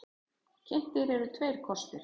Kynntir eru tveir kostir.